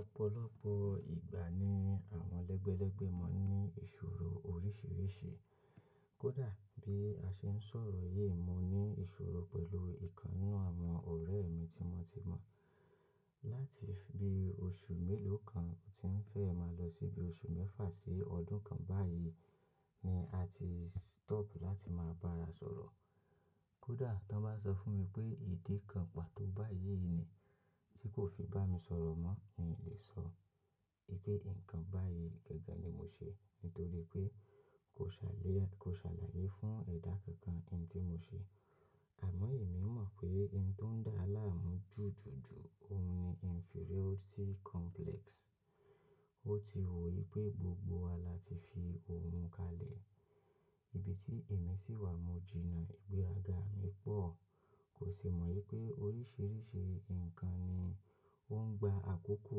Ọ̀pọ̀lọpọ̀ ìgbà ni àwọn lẹ́gbẹ́lẹ́gbẹ́ máa ń ní ìṣòro oríṣiríṣi. Kódà bí a ṣe ń sọ̀rọ̀ yí, mo ní ìṣòro pẹ̀lú ìkan nínú àwọn ọ̀rẹ́ mi tí mo ti mọ̀. Látì bí oṣù mélòó kan tí ń fẹ́ máa lọ síbi oṣù mẹ́fà sí ọdún kan báyìí ni a ti stop láti máa bá ara sọ̀rọ̀. Kódà tọ́ bá sọ fún mi pé ìdí kan pàtó báyìí nì, tí kò fi bá mi sọ̀rọ̀ mọ́ n lè sọ i pé ǹnkan báyìí gẹ́gẹ́ ni mo ṣe nítorí pé kò saliya, kò ṣàlàyé fún ẹ̀dà kankan n tí mo ṣe. Àmọ́ èmi mọ̀ pé ohun tó ń dá àlá mú jù jù jù, òhun ní inferiority complex. Ó ti wò í pé gbogbo wa la ti fi oùn kalẹ̀. Ibi tí èmi sì wà, mo jìnnà ìgbéraga mi pọ̀. Kò sì mọ̀ wípé oríṣiríṣi ǹkan ni ó ń gba àkókò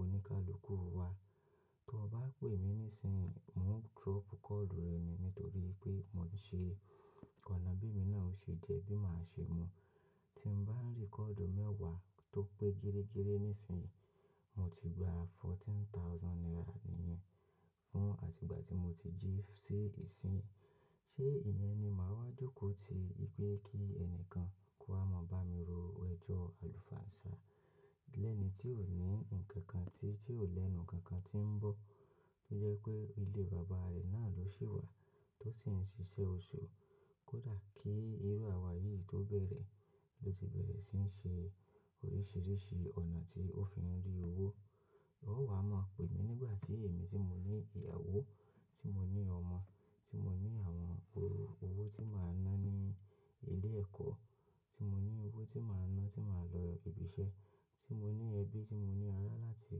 oníkálukú wa. Tí wọ́n bá pè mí níìsínyin, mò drop kọ́ọ̀lù rẹ ni nítorí pé mo ń ṣe ọ̀nà bí èmi náà ṣe jẹ́ bí màá ṣe mu. Tí n bá ríkọ́ọ̀dù mẹ́wàá tó pé gírégíré níìsínyì, mo ti gba fourteen thousand naira nìyẹn fún àti ìgbà tí mo ti jí sí ìsín. Ṣé ìyẹn ni màá wá jókòó ti i pé kí ẹnìkan kó wá maa bá mi ro ẹjọ́ àlùfàǹsá? Lẹ́ẹ̀nì tí ò ní ǹnkan kan ti tí ó lè nu nǹkan kan tí ń bọ̀, tó jẹ́ wípé ilé bàbá rẹ̀ náà ló sì wà tó sì ń ṣiṣẹ́ oṣù. Kódà kí ìró àwà yìí tó bẹ̀rẹ̀ ló ti bẹ̀rẹ̀ sí n ṣe oríṣiríṣi ọ̀nà tí ó fi ń rí owó. Ó wà mọ̀ pè mí nígbà tí èmi tí mo ní ìyàwó, tí mo ní ọmọ, tí mo ní àwọn owó, owó tí màá ná ní ilé-ẹ̀kọ́, tí mo ní owó tí màá ná tí màá lọ ibi iṣẹ́, tí mo ní ẹbí, tí mo ní ará láti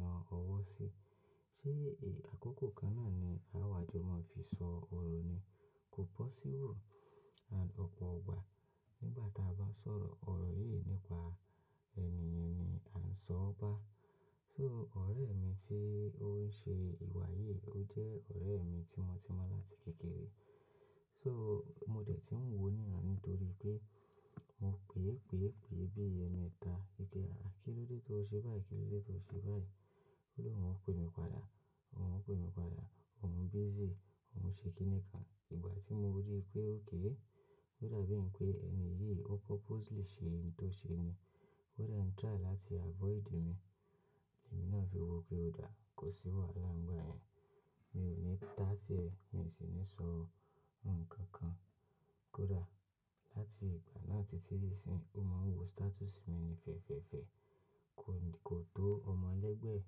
na ọwọ́ sí. Ṣé èyí àkókò kan náà ni àwàjò máa fi sọ ọ̀rọ̀ ni? Kò possible. Ọ̀pọ̀ gbà n gbà ta bá sọ̀rọ̀ ọ̀rọ̀ yìí nípa ènìyàn ni à ń sọ ọ́ bá. So ọ̀rẹ́ mi tí ó ń ṣe ìwà yìí, ó jẹ́ ọ̀rẹ́ mi tí mo ti mọ̀ láti kékeré. So mo dẹ̀ ti ń wò ó níran nítorí pé mo pèé pèé pèé bí è mẹ́ta. Gẹ́gẹ́ à kí ló dé tó ṣe báyìí? Kí ló dé tó ṣe báyìí? Ó ní òun ò pe mi padà, òun ò pe mi padà, òun busy, òun ń ṣe kíni kan. Ìgbà tí mo rí i pé okay ódà bí ǹ pé ẹni yìí ó purposely ṣe ohun tó ṣe ni, kódà ò ń try láti avoid mi, èmi náà fi wò pé ó dà, kò sí wàhálà ńgba yẹn. Mi ò ní tà á sí ẹ̀, mi ò sì ní sọ nǹkan kan. Kódà láti ìgbà náà títí ìsín, ó máa ń wo status mi ni fẹ̀fẹ̀fẹ̀. Kò tó ọmọ lẹ́gbẹ̀ẹ́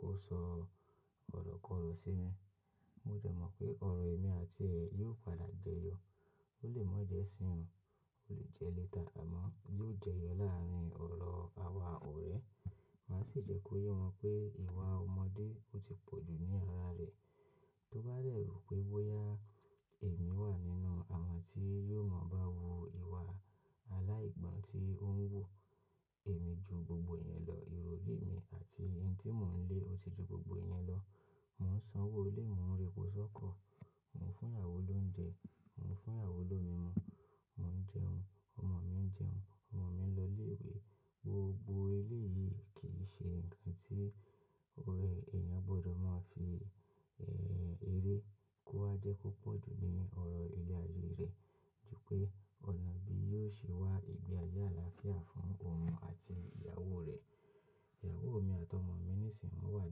kó sọ ọ̀rọ̀ kọ̀rọ̀ sí mi. Mo dẹ̀ mọ̀ pé ọ̀rọ̀ èmi àti rẹ yóò padà jẹyọ. Ó lè mọ́ jẹ́ isíyin o, ó lè jẹ́ later, àmọ́ yóò jẹyọ láàrin ọ̀rọ̀ àwa ọ̀rẹ́. Máa sì jẹ́ kó yé wọn pé ìwà ọmọdé ó ti pọ̀ jù ní ara rẹ̀. Tó bá dẹ̀ rò pé bóyá èmi wà nínú àwọn tí yóò maa bá wu ìwà aláìgbọ́n tí ó ń wu èmi ju gbogbo ìyẹn lọ, ìròrì mi àti n tí mò ń lé ó ti ju gbogbo ìyẹn lọ. Mò ń sanwó ilé, mò ń repọ sọ́kọ̀, mò ń fún ìyàwó lóúnjẹ, mò ń fún ìyàwó ló mimu, mò ń jẹun, ọmọ mi ń jẹun, ọmọ mi ń lọ ilé ìwé. Gbogbo eléyìí kì í ṣe ǹnkan tí o ọ̀rẹ́ èèyàn gbọdọ̀ máa fi, ẹ́, eré kó wá jẹ́ kó pọ̀ jù ní ọ̀rọ̀ irin ayé rẹ̀. Jù pé ọ̀nà bí yóò ṣe wá ìgbé ayé àlàáfíà fún òun àti ìyàwó rẹ̀. Ìyàwó mi àti ọmọ mi níìsín wọ́n wà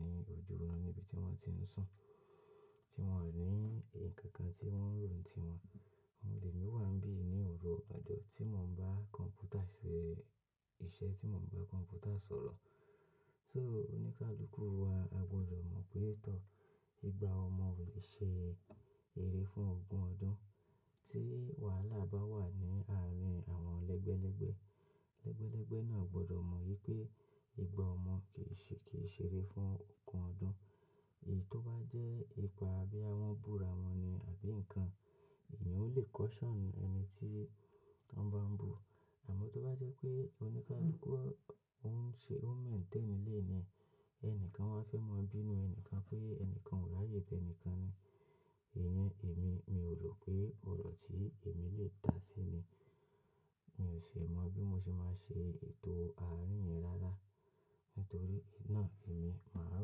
ní ojúọ́run níbi tí wọ́n ti ń sùn, tí wọ́n ní ǹnkan kan tí wọ́n ń rò n ti wọn. Mọ de lè wà n bí ní òru ọ̀gbàjọ tí mò ń bá kọ̀m̀pútà ṣe iṣẹ́, tí mò ń bá kọ̀m̀pútà sọ̀rọ̀. So oníkálukú wa, a gbọdọ̀ mọ̀ pé tọ̀, ìgbà ọmọ ò lè ṣe eré fún ogún ọdún. Tí wàhálà bá wà ni áàrin àwọn lẹ́gbẹ́lẹ́gbẹ́, lẹ́gbẹ́lẹ́gbẹ́ náà gbọdọ̀ mọ̀ wípé ìgbà ọmọ kì í ṣe, kì í ṣe eré fún ogún ọdún. Èyí tó bá jẹ́ ipa bóyá wọ́n búra wọn ni àbí nǹkan, èyí ò lè caution ẹni tí tọ́ n bá ń bú. Àmọ́ tó bá jẹ́ pé oníkálukú ń ṣe, ó ń maintain ilé ni ẹnìkan wá fẹ́ mọ bí inú ẹnìkan pé ẹnìkan ò láyè tẹ ẹnìkan ni. Ìyẹn èmi, mi ò rò pé ọ̀rọ̀ tí èmi lè tà síi ni. Mi ò ṣe mọ̀ bí mo ṣe máa ṣe ètò àárín yẹn rárá nítorí náà èmi màá rò.